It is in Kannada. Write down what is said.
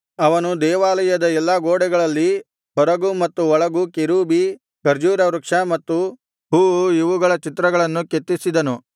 ಅವನು ದೇವಾಲಯದ ಎಲ್ಲಾ ಗೋಡೆಗಳಲ್ಲಿ ಹೊರಗೂ ಮತ್ತು ಒಳಗೂ ಕೆರೂಬಿ ಖರ್ಜೂರವೃಕ್ಷ ಮತ್ತು ಹೂವು ಇವುಗಳ ಚಿತ್ರಗಳನ್ನು ಕೆತ್ತಿಸಿದನು